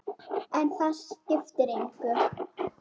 En það skiptir engu.